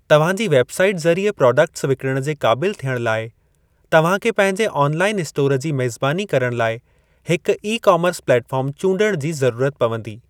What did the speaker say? तव्हां जी website ज़रिए प्राडक्टस विकिणणु जे क़ाबिलु थियणु लाए, तव्हां खे पंहिंजे आन लाइअन इस्टोर जी मेज़बानी करण लाइ हिक ई कामर्स प्लेट फ़ार्म चूंडण जी ज़रूरत पवंदी।